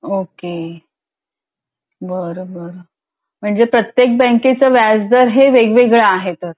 okay बरं बरं म्हणजे प्रत्येक बँकेचं व्याजदर वेग वेगळं आहे तर